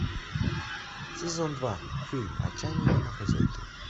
сезон два фильм отчаянные домохозяйки